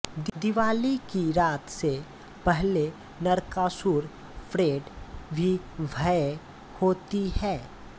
दिवाली की रात से पहले नरकासुर परेड भी भव्य होती है